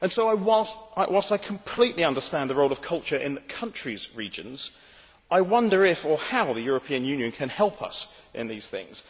So, whilst I completely understand the role of culture in countries' regions, I wonder if or how the European Union can help us in these things.